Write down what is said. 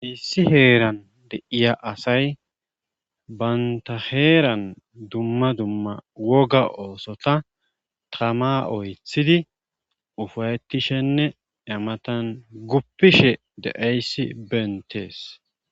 Issi heeran deiya asay baynta heeran dumma dumma woga oosota tama oythidi ufayettishenne imatan guppishe deeyssi beentees.